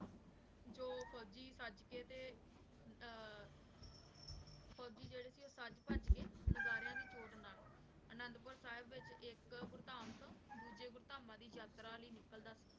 ਜੋ ਫੋਜੀ ਸਾਜ ਕੇ ਤੇ ਆਹ ਫੋਜੀ ਜੇਰੇ ਸੀ ਊ ਸਾਜ ਭਜ ਕੇ ਨਾਗਾਰ੍ਯਾਂ ਦੀ ਚੋਟ ਨਾਲ ਅਨੰਦੁ ਪੁਰ ਸਾਹਿਬ ਵਿਚ ਏਇਕ ਭੁਰਤਾਂ ਤੋਂ ਦੋਜਯ ਭੁਰ੍ਤਾਮਾਂ ਦੀ ਯਾਤਰਾ ਲੈ ਨਿਕਲਦਾ ਸੀ